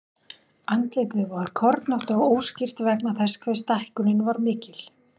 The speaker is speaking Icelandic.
Andlitið var kornótt og óskýrt vegna þess hve stækkunin var mikil.